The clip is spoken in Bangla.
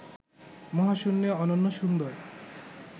মহাশূন্যে অনন্য সুন্দর